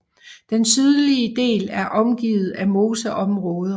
Den sydlige del er omgivet af moseområder